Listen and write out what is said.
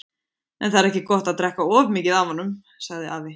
En það er ekki gott að drekka of mikið af honum, sagði afi.